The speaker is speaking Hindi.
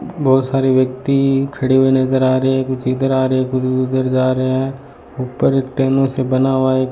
बहोत सारे व्यक्ति खड़े हुए नजर आ रहे है कुछ इधर आ रहे है कुछ भी उधर जा रहे है ऊपर एक टेनो से बना हुआ ए --